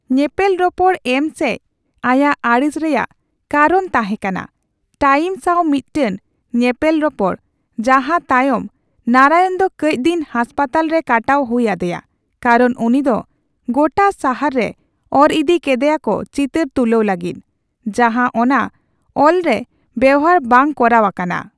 ᱧᱮᱯᱮᱞᱨᱚᱯᱚᱲ ᱮᱢ ᱥᱮᱡ ᱟᱭᱟᱜ ᱟᱲᱤᱥ ᱨᱮᱭᱟᱜ ᱠᱟᱨᱚᱱ ᱛᱟᱦᱮᱸᱠᱟᱱᱟ 'ᱴᱟᱭᱤᱢ' ᱥᱟᱣ ᱢᱤᱫᱴᱮᱱ ᱧᱮᱯᱮᱞᱨᱚᱯᱚᱲ, ᱡᱟᱦᱟᱸ ᱛᱟᱭᱚᱢ ᱱᱟᱨᱟᱭᱚᱱ ᱫᱚ ᱠᱟᱹᱪᱫᱤᱱ ᱦᱟᱥᱯᱟᱛᱟᱞ ᱨᱮ ᱠᱟᱴᱟᱣ ᱦᱩᱭ ᱟᱫᱮᱭᱟ ᱠᱟᱨᱚᱱ ᱩᱱᱤᱫᱚ ᱜᱚᱴᱟ ᱥᱟᱦᱟᱨ ᱨᱮ ᱚᱨᱤᱫᱤ ᱠᱮᱫᱮᱭᱟᱠᱚ ᱪᱤᱛᱟᱹᱨ ᱛᱩᱞᱟᱹᱣ ᱞᱟᱹᱜᱤᱫ, ᱡᱟᱦᱟᱸ ᱚᱱᱟ ᱚᱞᱨᱮ ᱵᱮᱣᱦᱟᱨ ᱵᱟᱝ ᱠᱚᱨᱟᱣ ᱟᱠᱟᱱᱟ ᱾